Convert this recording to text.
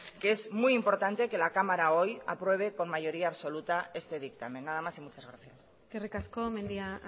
que es muy importante que la cámara hoy apruebe con mayoría absoluta este dictamen nada más y muchas gracias eskerrik asko mendia